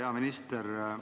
Hea minister!